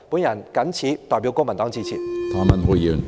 我謹代表公民黨致辭。